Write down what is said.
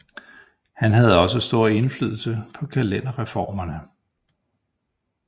Han havde også stor indflydelse på kalenderreformerne